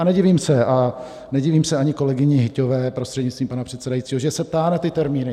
A nedivím se ani kolegyni Hyťhové prostřednictvím pana předsedajícího, že se ptá na ty termíny.